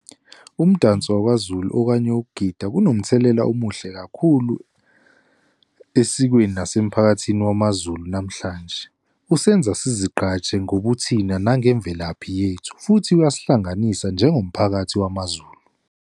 Umdanso wakwaZulu, okanye ukugida, kunomthelela omuhle kakhulu esikweni nasemphakathini wamaZulu namhlanje, usenza sizigqaje ngobuthina nangemvelaphi yethu, futhi uyasihlanganisa njengomphakathi wamaZulu.